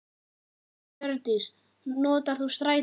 Hjördís: Notar þú strætó?